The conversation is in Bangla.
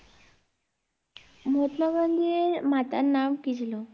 মহাত্মা গান্ধীর মাতার নাম কি ছিল?